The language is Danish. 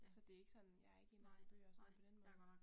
Så det ikke sådan jeg er ikke inde og hente bøger og sådan noget på den måde